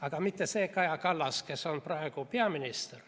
Aga mitte see Kaja Kallas, kes on praegu peaminister,